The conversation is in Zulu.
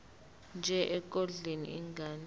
nje ekondleni ingane